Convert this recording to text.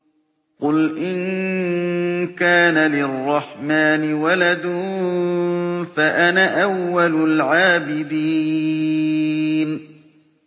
قُلْ إِن كَانَ لِلرَّحْمَٰنِ وَلَدٌ فَأَنَا أَوَّلُ الْعَابِدِينَ